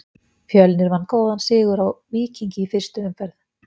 Fjölnir vann góðan sigur á Víkingi í fyrstu umferð.